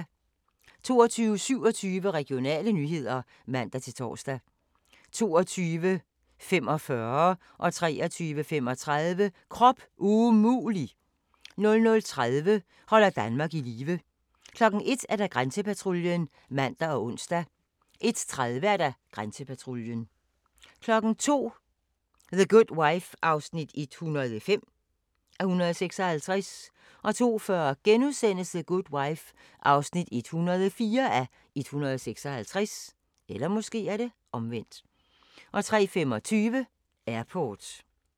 22:27: Regionale nyheder (man-tor) 22:45: Krop umulig! 23:35: Krop umulig! 00:30: Holder Danmark i live 01:00: Grænsepatruljen (man og ons) 01:30: Grænsepatruljen 02:00: The Good Wife (105:156) 02:40: The Good Wife (104:156)* 03:25: Airport